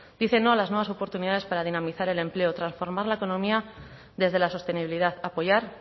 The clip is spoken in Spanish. dicen no a las nuevas oportunidades para dinamizar el empleo transformar la economía desde la sostenibilidad apoyar